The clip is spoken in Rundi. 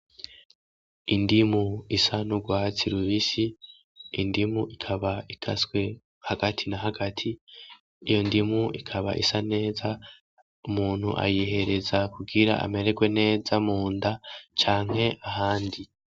Indimu isa n'urwasi rubisi indimu ikaba ikaswe hagati na hagati iyo ndimu ikaba isa neza umuntu ayihereza kugira amererwe neza mu nda canke ahandi.